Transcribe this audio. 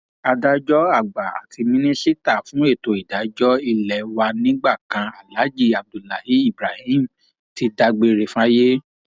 adájọ àgbà àti mínísítà fún ètò ìdájọ ilé wa nígbà kan aláàjì abdullahi ibrahim ti dágbére fáyé